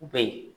U bɛ yen